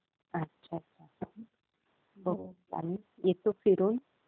हा, अच्छा. आम्ही येतो फिरून.